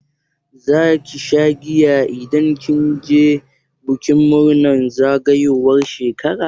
Zaki sha giya idan kin je bikin murnar zagayowar shekara?